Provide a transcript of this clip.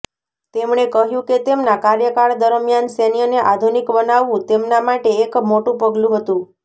તેમણે કહ્યું કે તેમના કાર્યકાળ દરમિયાન સૈન્યને આધુનિક બનાવવું તેમના માટે એક મોટું પગલું હતું